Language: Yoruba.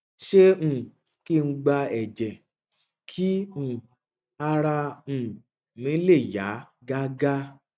ṣé um kí n gba ẹjẹ kí um ara um mi le yá gágá